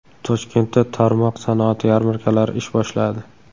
Toshkentda tarmoq sanoat yarmarkalari ish boshladi.